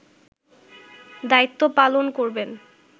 দায়িত্ব পালন করবেন